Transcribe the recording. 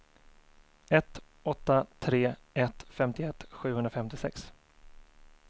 ett åtta tre ett femtioett sjuhundrafemtiosex